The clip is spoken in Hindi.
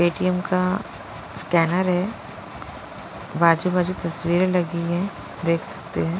पेटीएम का स्कैनर है बाजू-बाजू तस्वीरें लगी है देख सकते हैं।